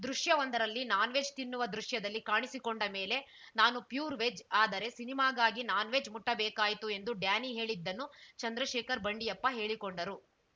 ದೃಶ್ಯ ಒಂದರಲ್ಲಿ ನಾನ್‌ವೆಜ್‌ ತಿನ್ನವ ದೃಶ್ಯದಲ್ಲಿ ಕಾಣಿಸಿಕೊಂಡ ಮೇಲೆ ನಾನು ಪ್ಯೂರ್‌ ವೆಜ್‌ ಆದರೆ ಸಿನಿಮಾಗಾಗಿ ನಾನ್‌ವೆಜ್‌ ಮುಟ್ಟಬೇಕಾಯ್ತು ಎಂದು ಡ್ಯಾನಿ ಹೇಳಿದ್ದನ್ನು ಚಂದ್ರಶೇಖರ್‌ ಬಂಡಿಯಪ್ಪ ಹೇಳಿಕೊಂಡರು